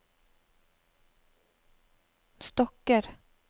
stokker